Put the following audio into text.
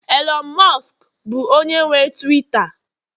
Elon musk bụ onye nwe Tuwiita